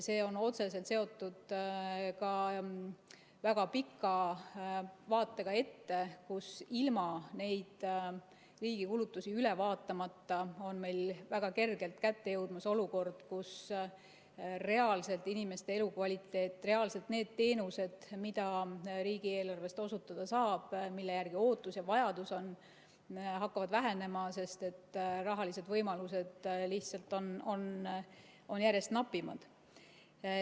See on otseselt seotud ka väga pika vaatega ette, sest ilma riigi kulutusi üle vaatamata on meil väga kergelt kätte jõudmas olukord, kus reaalselt inimeste elukvaliteet, reaalselt need teenused, mida riigieelarvest osutada saab, mille järgi ootus ja vajadus on, hakkavad vähenema, sest rahalised võimalused on lihtsalt järjest napimad.